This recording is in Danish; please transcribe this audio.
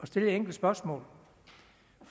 stille et enkelt spørgsmål